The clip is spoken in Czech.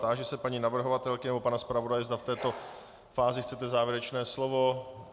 Táži se paní navrhovatelky nebo pana zpravodaje, zda v této fázi chcete závěrečné slovo.